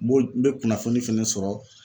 N b'o n bɛ kunnafoni fɛnɛ sɔrɔ